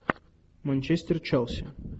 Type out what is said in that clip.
манчестер челси